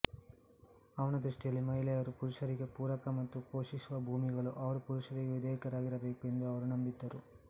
ಅವನ ದೃಷ್ಟಿಯಲ್ಲಿ ಮಹಿಳೆಯರು ಪುರುಷರಿಗೆ ಪೂರಕ ಮತ್ತು ಪೋಷಿಸುವ ಭೂಮಿಗಳು ಅವರು ಪುರುಷರಿಗೆ ವಿಧೇಯರಾಗಿರಬೇಕು ಎಂದು ಅವರು ನಂಬಿದ್ದರು